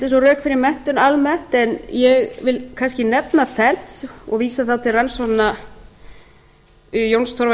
og rök fyrir menntun almennt en ég vil kannski nefna fernt og vísa þá til rannsókna jóns torfa